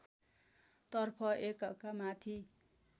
तर्फ एकका माथि